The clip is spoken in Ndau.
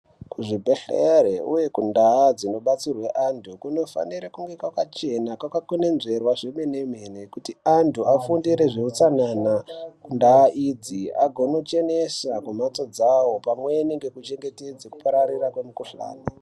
Kuzvibhedhleri uye kundaa dzinobatsirwe antu kunofanire kunge kwakachene kwakakwenenzvera zvemene mene kuti antu afundire zveutsanana kundaa idzi agonochenesa kumhatso dzawo pamweni ngekuchengetedze kupararira kwemikhuhlani.